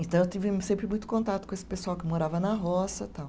Então, eu tive sempre muito contato com esse pessoal que morava na roça tal.